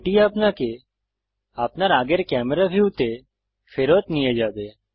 এটি আপনাকে আপনার আগের ক্যামেরা ভিউতে ফেরত নিয়ে যাবে